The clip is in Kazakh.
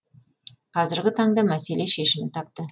қазіргі таңда мәселе шешімін тапты